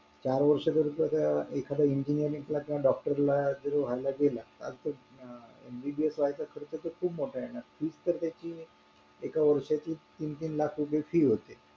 चार वर्ष एखादी engineering doctor जरी व्हायला गेला MBBS व्हायचा खर्च मोठा येणार होणार fees तर त्याची एका वर्षाची तीन-तीन लाख रुपये fees होते